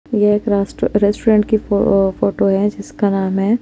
ये एक रास्त्रो रेस्टोरेंट की फ़ो-फोटो है जिसका नाम है।